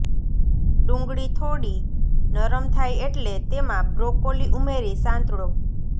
ડુંગળી થોડી નરમ થાય એટલે તેમાં બ્રોકોલી ઉમેરી સાંતળો